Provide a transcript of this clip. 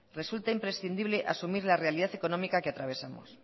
resulta imprescindible asumir la realidad económica que atravesamos